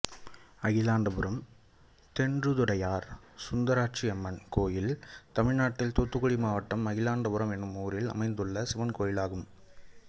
அகிலாண்டபுரம் தென்றதுடையார் சுந்தராட்சியம்மன் கோயில் தமிழ்நாட்டில் தூத்துக்குடி மாவட்டம் அகிலாண்டபுரம் என்னும் ஊரில் அமைந்துள்ள சிவன் கோயிலாகும்